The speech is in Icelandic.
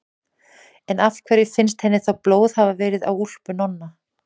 En af hverju finnst henni þá blóð hafa verið á úlpu Nonna?